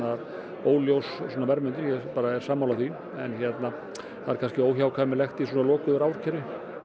óljós verðmyndun ég er sammála því en það er kannski óhjákvæmilegt í svona lokuðu raforkukerfi